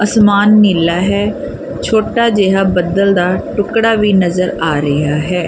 ਅਸਮਾਨ ਨੀਲਾ ਹੈ ਛੋਟਾ ਜਿਹਾ ਬੱਦਲ ਦਾ ਟੁਕੜਾ ਵੀ ਨਜ਼ਰ ਆ ਰਿਹਾ ਹੈ।